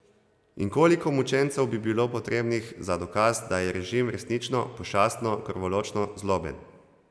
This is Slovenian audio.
In koliko mučencev bi bilo potrebnih za dokaz, da je režim resnično, pošastno, krvoločno zloben?